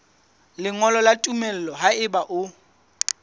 lengolo la tumello haeba o